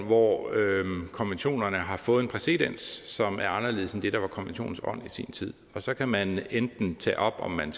hvor konventionerne har fået en præcedens som er anderledes end det der var konventionens ånd i sin tid og så kan man enten tage op om man